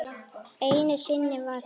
Einu sinni var það